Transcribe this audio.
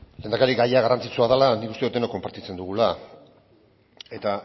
lehendakari gaia garrantzitsua dela nik uste dut denok konpartitzen dugula eta